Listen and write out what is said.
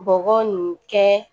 Bɔgɔ nin kɛ